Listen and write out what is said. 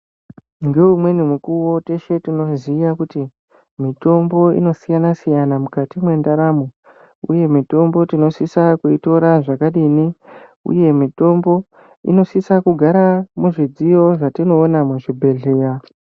Ngeumweni mukuwo teshe tinoziya kuti mutombo inosiyana siyana mukati mendaramo uye mitombo tinosisa kuitira zvakadini uye mitombo inosisa kugara muzvidziyo zvatinoona muzvibhedhleya.